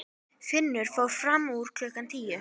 Finnur fór fram úr klukkan tíu.